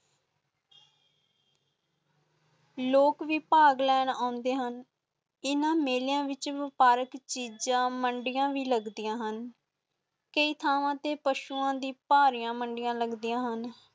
ਲੋਕ ਭੀ ਪਾਗ ਨਾਲ ਅੰਡੇ ਹੁਣ ਇੰਨਾ ਮੇਲਿਆਂ ਵਿਚ ਪਾਰਕ ਚੀਜਾਂ ਮੰਡੀਆਂ ਵੀ ਲੱਗਦੀਆਂ ਹਨ ਕਈ ਥਾਵਾਂ ਤੇ ਪਸ਼ੂਆਂ ਦੀਆ ਭਰੀਆਂ ਮੰਡੀਆਂ ਲੱਗਦੀਆਂ ਹਨ